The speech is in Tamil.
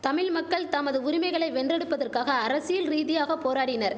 தமிழ் மக்கள் தமது உரிமைகளை வென்றெடுப்பதற்காக அரசியல் ரீதியாக போராடினர்